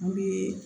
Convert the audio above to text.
N'u ye